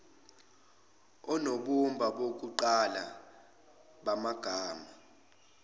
onobumba bokuqala bamagama